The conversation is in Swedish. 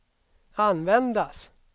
användas